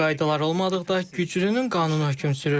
Qaydalar olmadıqda güclünün qanunu hökm sürür.